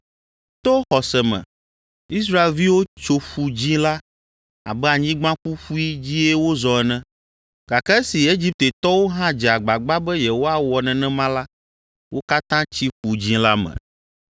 To xɔse me Israelviwo tso Ƒu Dzĩ la abe anyigba ƒuƒui dzie wozɔ ene, gake esi Egiptetɔwo hã dze agbagba be yewoawɔ nenema la, wo katã tsi Ƒu Dzĩ la me.